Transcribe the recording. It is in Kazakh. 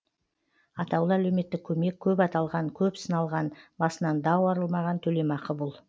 атаулы әлеуметтік көмек көп аталған көп сыналған басынан дау арылмаған төлемақы бұл